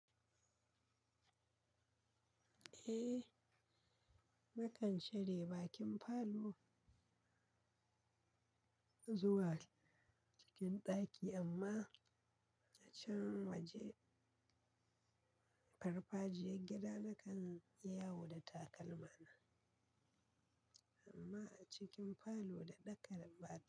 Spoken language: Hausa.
Eh, nakan share bakin falo zuwa cikin ɗaki amma a can waje farfajiyar gida nakan yi yawo da takalma na amma a cikin falo daɗaƙar ba.